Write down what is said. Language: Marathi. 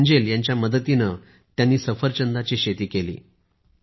एंजेल यांच्या मदतीने सफरचंदाची शेती केली आहे